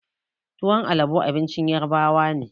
Tuwon alabo abincin ƴarbawa ne.